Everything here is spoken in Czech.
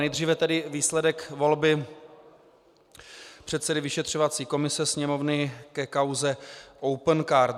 Nejdříve tedy výsledek volby předsedy vyšetřovací komise Sněmovny ke kauze Opencard.